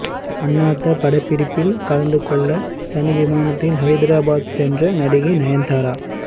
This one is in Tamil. அண்ணாத்த படப்பிடிப்பில் கலந்துகொள்ள தனி விமானத்தில் ஹைதராபாத் சென்றார் நடிகை நயன்தாரா